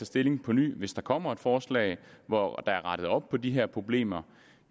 stilling på ny hvis der kommer et forslag hvor der er rettet op på de her problemer